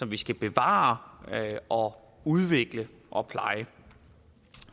vi skal bevare og udvikle og pleje